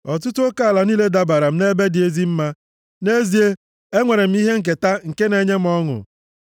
Ọtụtụ oke ala niile dabara m nʼebe dị ezi mma; nʼezie, e nwere m ihe nketa nke na-enye m ọṅụ.